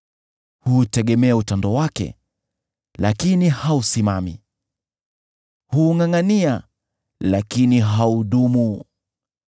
Huutegemea utando wake, lakini hausimami; huungʼangʼania, lakini haudumu.